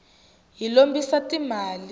hi lombisa ti mali